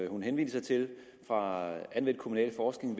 hun henviser til fra anvendt kommunalforskning